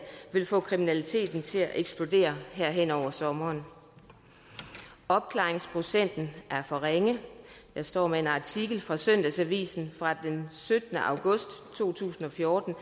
vil få kriminaliteten til at eksplodere her hen over sommeren opklaringsprocenten er for ringe jeg står med en artikel fra søndagsavisen fra den syttende august to tusind og fjorten